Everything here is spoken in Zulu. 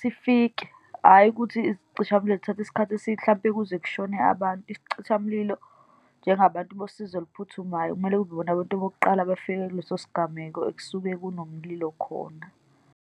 sifike. Hhayi ukuthi izicishamlilo zithathe isikhathi , mhlampe kuze kushone abantu. Isicishamlilo, njengabantu bosizo oluphuthumayo, kumele kube yibona abantu bokuqala abafika kuleso sigameko ekusuke kunomlilo khona.